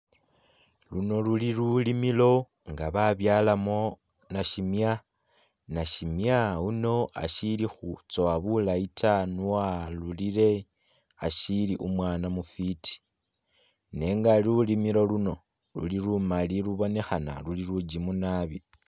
Luno luli lulimilo nga babyalamo nasimya ,nasimya uno ashili khutsowa bulayi taa nio arurire ashili umwana mufiti nenga lulimilo luno luli lumali lubonekhana luli lugimu nabi.